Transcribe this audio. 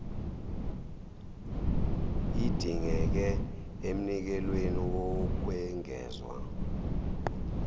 idingeke emnikelweni wokwengezwa